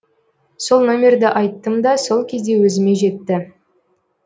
сол номерді айттым да сол кезде өзіме жетті